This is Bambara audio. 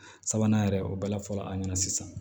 Sabanan yɛrɛ o bala fɔlɔ an ɲɛna sisan